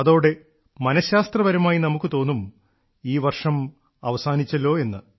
അതോടെ മനഃശാസ്ത്രപരമായി നമുക്ക് തോന്നും ഈ വർഷം അവസാനിച്ചല്ലോ എന്ന്